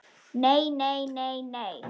Nei, nei, nei, nei.